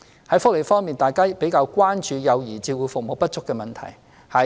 在福利方面，大家較為關注幼兒照顧服務不足的問題。